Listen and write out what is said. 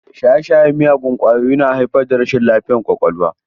Shaye-shayen miyagun ƙwayoyi yana haifar da rashin lafiyar ƙwaƙwalwa.